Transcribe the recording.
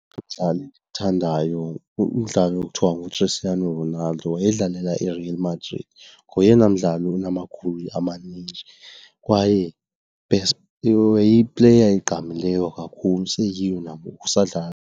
Umdlali endiwuthandayo ngumdlali okuthiwa nguChristiano Ronaldo, wayedlalela iReal Madrid. Ngoyena mdlali unamagowuli amaninji kwaye wayeyipleya egqamileyo kakhulu useyiyo nangoku, usadlala.